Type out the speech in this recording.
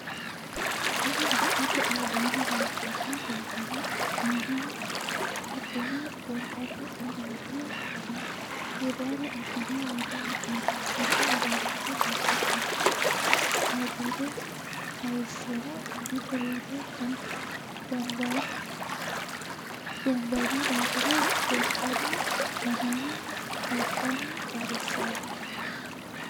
Tinni dikote albaanni leeltano doogora aannaho kadhine gonxanni uduune hirara abine wore hee'noonni konne uduunicho babbaxino kaajado hayisono gido wore gombanni daafira gonxanni yannara guuqanni qarisano.